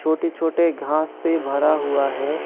छोटे छोटे घांस से भरा हुआ है।